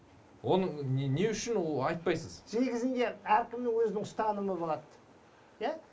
оның не үшін ол айтпайсыз негізінде әркімнің өзінің ұстанымы болады иә